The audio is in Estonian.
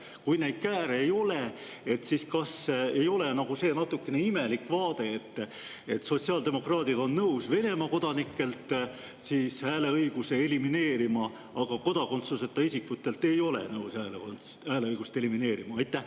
Kui neid kääre ei ole, siis kas ei ole see nagu natukene imelik vaade, et sotsiaaldemokraadid on nõus Venemaa kodanike hääleõiguse elimineerima, aga kodakondsuseta isikute hääleõigust ei ole nad nõus elimineerima?